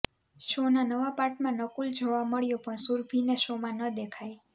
શોના નવા પાર્ટમાં નકુલ જોવા મળ્યો પણ સુરભીને શોમાં ન દેખાઈ